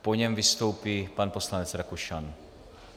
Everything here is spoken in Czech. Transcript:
Po něm vystoupí pan poslanec Rakušan.